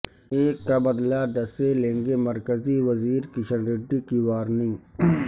ایک کا بدلہ دس سے لیں گےمرکزی وزیر کشن ریڈی کی وارننگ